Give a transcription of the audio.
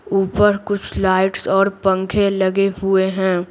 ऊपर कुछ लाइट्स और पंखे लगे हुए हैं।